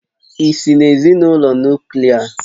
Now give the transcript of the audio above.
Ị́si n'ezinụlọ Nuklià?